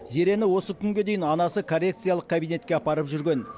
зерені осы күнге дейін анасы коррекциялық кабинетке апарып жүрген